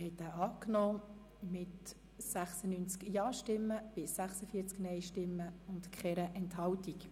Sie haben den Antrag Regierungsrat/GSoKMehrheit angenommen mit 96 Ja- zu 46 Nein-Stimmen bei keiner Enthaltung.